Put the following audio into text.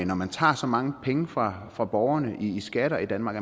når man tager så mange penge fra fra borgerne i skatter i danmark